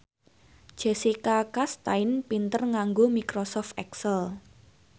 Jessica Chastain pinter nganggo microsoft excel